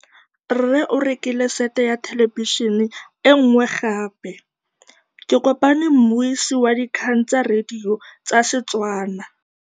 Rre o rekile sete ya thêlêbišênê e nngwe gape. Ke kopane mmuisi w dikgang tsa radio tsa Setswana.